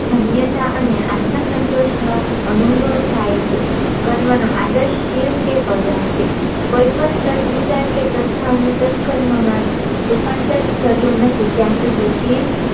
ધન્યતા અને આત્મ સંતોષ નો અનુભવ થાય છે કર્મ નો આદર્શ કે શિવ કે કલ્યાણ છે કોઈ પણ સદવિચાર કે સદભાવ નું સત્કર્મ માં રૂપાંતર થતું નથી ત્યાં સુધી શિવ